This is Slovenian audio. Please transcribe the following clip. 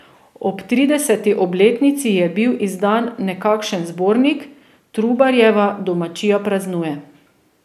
Ob trideseti obletnici je bil izdan nekakšen zbornik Trubarjeva domačija praznuje.